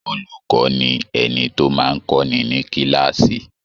Olùkọ́ ni ẹni tó máa ń kọ́ni ní kíláàsì.